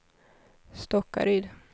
Stockaryd